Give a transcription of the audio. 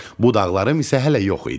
Budaqlarım isə hələ yox idi.